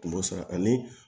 Kun b'o sara ani